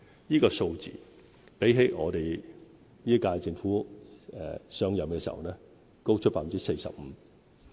這個數字比本屆政府上任時高出 45%。